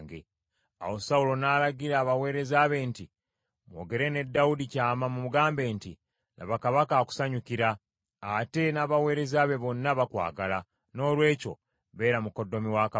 Awo Sawulo n’alagira abaweereza be nti, “Mwogere ne Dawudi kyama mumugambe nti, ‘Laba, kabaka akusanyukira, ate n’abaweereza be bonna bakwagala, noolwekyo beera mukoddomi wa kabaka.’ ”